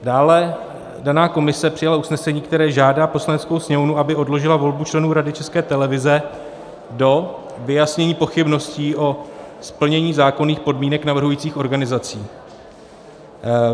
Dále daná komise přijala usnesení, které žádá Poslaneckou sněmovnu, aby odložila volbu členů Rady České televize do vyjasnění pochybností o splnění zákonných podmínek navrhujících organizací.